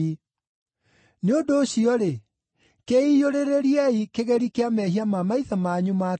Nĩ ũndũ ũcio-rĩ, kĩiyũrĩrĩriei kĩgeri kĩa mehia ma maithe manyu ma tene.